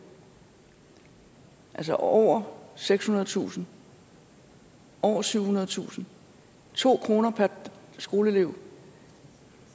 altså over sekshundredetusind over syvhundredetusind to kroner per skoleelev